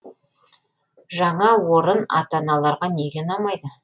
жаңа орын ата аналарға неге ұнамайды